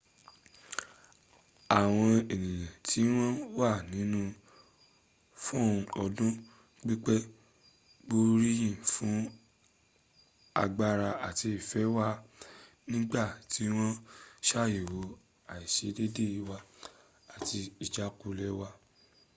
àwọn ẹnìyàn tí wọ́n wà nínu rl fún ọdún pípẹ́ gbóríyìn fún agbára àti ìfẹ́ wa nígbà tí wọ́n ṣàyẹ̀wó àìṣedédé wa àti ìjákulẹ̀ w